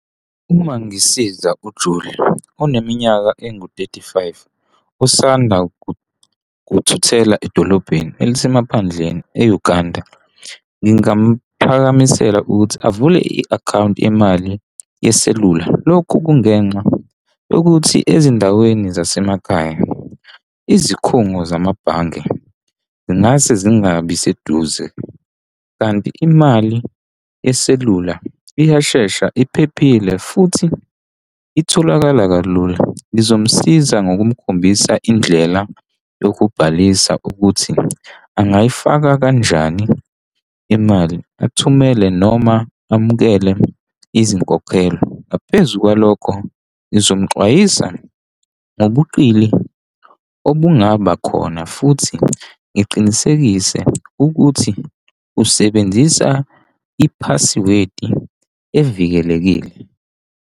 Uma ngisiza uJulia oneminyaka engu-thirty-five usanda kuthuthela edolobheni elisemaphandleni e-Uganda, ngingamuphakamisela ukuthi avule i-akhawunti yemali yeselula. Lokhu kungenxa yokuthi ezindaweni zasemakhaya, izikhungo zamabhange zingase zingabi seduze, kanti imali yeselula iyashesha iphephile futhi itholakala kalula. Ngizomsiza ngokukhombisa indlela yokubhalisa ukuthi angayifaka kanjani imali athumele noma amukele izinkokhelo. Ngaphezu kwalokho ngizomxwayisa ngobuqili obungaba khona futhi ngiqinisekise ukuthi usebenzisa i-password evikelekile.